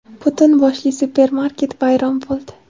Butun boshli supermarket vayron bo‘ldi.